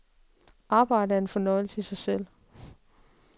Arbejdet er en fornøjelse i sig selv.